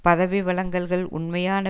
பதவி வழங்கல்கள் உண்மையான